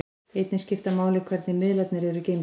Einnig skiptir máli hvernig miðlarnir eru geymdir.